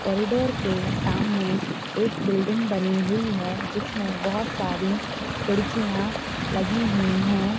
corridor के सामने एक बिल्डिंग बनी हुई है जिसमेँ बहुत सारी खिड़कियां लगी हुई है